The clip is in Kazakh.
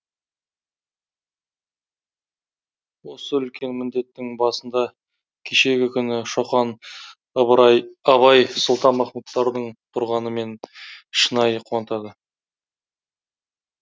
осы үлкен міндеттің басында кешегі күні шоқан ыбырай абай сұлтанмахмұттардың тұрғаны мені шынайы қуантады